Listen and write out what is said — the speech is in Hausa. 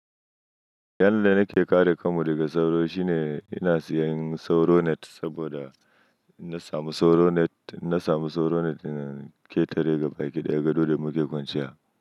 Yanda nake kare kanmu daga sauro shine ina siyan sauro net saboda na sami sauro net, na sami sauro net daga ƙetare gabaɗaya gado da muke kwanciya.